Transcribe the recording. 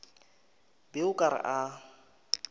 be o ka re a